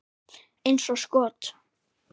Eins og skot!